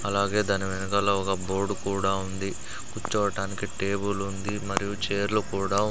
అలాగే దాని వెనకాల ఒక బోర్డు కుడా ఉంది కుర్చోవటానికి టేబులుంది మరియు చైర్లు కూడా--